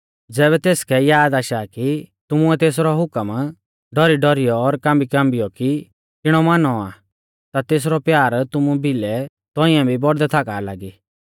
ज़ैबै तेसकै याद आशा सा कि तुमुऐ तेसरौ हुकम डौरीडौरियौ और कांबीकाँबियौ कि किणौ मानौ आ ता तेसरौ प्यार तुमु भिलै तौंइऐ भी बौड़दै थाका लागी